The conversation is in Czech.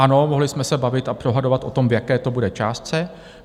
Ano, mohli jsme se bavit a dohadovat o tom, v jaké to bude částce.